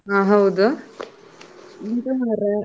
ಹಾ ಹೌದ್. ಆ ಎಂತ ಮಾರೆ?